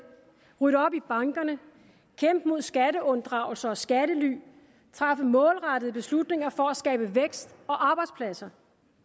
rydde op i bankerne kæmpe mod skatteunddragelse og skattely træffe målrettede beslutninger for at skabe vækst og arbejdspladser